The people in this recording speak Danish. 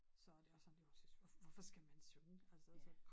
Så det er sådan lidt hun siger hvorfor skal man synge altså så